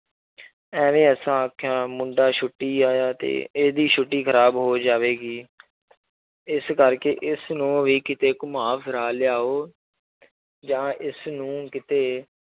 ਇਵੇਂ ਅਸਾਂ ਆਖਿਆ ਮੁੰਡੇ ਛੁੱਟੀ ਆਇਆ ਤੇ ਇਹਦੀ ਛੁੱਟੀ ਖ਼ਰਾਬ ਹੋ ਜਾਵੇਗੀ ਇਸ ਕਰਕੇ ਇਸਨੂੰ ਵੀ ਕਿਤੇ ਘੁੰਮਾ ਫਿਰਾ ਲਿਆਓ ਜਾਂ ਇਸਨੂੰ ਕਿਤੇ